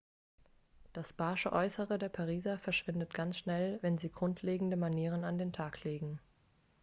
das barsche äußere der pariser verschwindet ganz schnell wenn sie grundlegende manieren an den tag legen